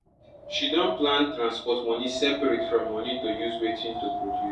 she don plan transport money separate from money to use wetin to produce